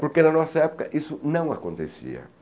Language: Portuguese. Porque na nossa época isso não acontecia.